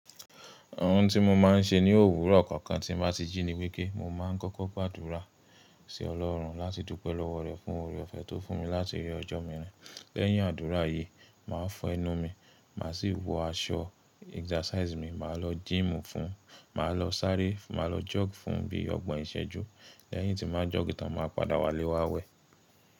Ohun tí mo máa ń ṣe ní òwúrọ̀ kọ̀ọ̀kan tí mo bá ti jí ni wípé kí n máa kọ́kọ́ gbàdúrà sí Ọlọ́run láti dúpẹ́ lọ́wọ́ rẹ̀ fún oore-ọ̀fẹ́ tó fún mi láti rí ọjọ́ mìíràn. Lẹ́yìn àdúrà yìí, màá fọ́ ẹnu mi, màá sì wọ aṣọ exercise mi, màá lọ gym fún, màá lọ sáré, màá lọ jog fún bí ọgbọ̀n ìṣẹ́jú. Lẹ́yìn tí mo bá jog tán, màá padà wálé wá wẹ̀.